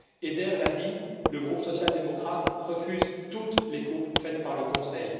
Eider l'a dit, le groupe social démocrate refuse toutes les coupes faites par le Conseil.